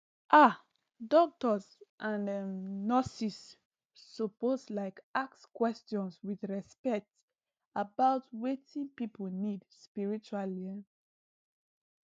ah doctors and um nurses suppose like ask questions with respect about wetin people need spiritually um